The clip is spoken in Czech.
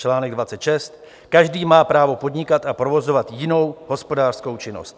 Článek 26 - každý má právo podnikat a provozovat jinou hospodářskou činnost.